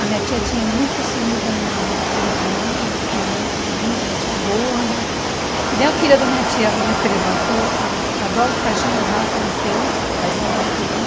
A minha tia tinha muitos filmes da minha da minha mãe, minha mãe muito bonita, minha tia gorda, que nem a filha da minha tia, minha prima, que eu a adoro de paixão, mas já faleceu, mais nova do que eu.